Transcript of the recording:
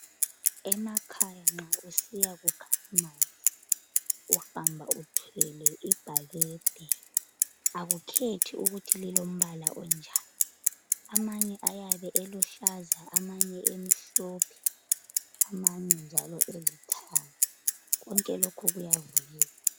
Emakhaya nxa usiyakukha amanzi uhamba uthwele ibhakede akukhethi ukuthi lilombala onjani amanye ayabe eluhlaza amanye emhlophe amanye njalo elithanga konke lokhu kuyavunyelwa.